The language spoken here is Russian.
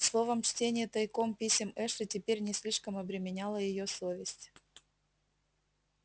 словом чтение тайком писем эшли теперь не слишком обременяло её совесть